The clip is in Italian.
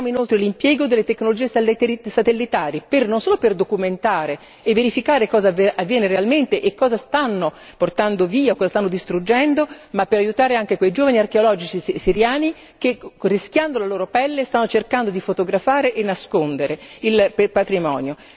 Chiediamo inoltre l'impiego delle tecnologie satellitari non solo per documentare e verificare cosa avviene realmente e cosa stanno portando via, cosa stanno distruggendo, ma per aiutare anche quei giovani archeologi siriani che rischiando la loro pelle stanno cercando di fotografare e nascondere il patrimonio.